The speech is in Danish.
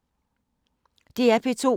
DR P2